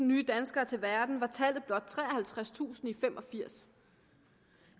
nye danskere til verden var tallet blot treoghalvtredstusind i nitten fem og firs